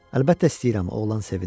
Əlbəttə istəyirəm, oğlan sevindi.